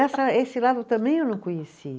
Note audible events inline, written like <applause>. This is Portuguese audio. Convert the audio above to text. <unintelligible> esse lado também eu não conheci.